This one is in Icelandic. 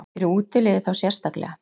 Fyrir útiliðið þá sérstaklega?